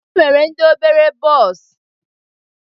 E nwere ndị obere bọs.